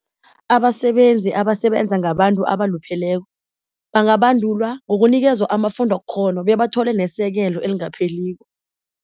Abasebenzi abasebenza ngabantu abalupheleko bangabandulwa ngokunikezwa amafundokghono bebathole nesekelo elingapheliko.